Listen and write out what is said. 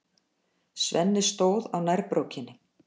Svenni stóð á nærbrókinni.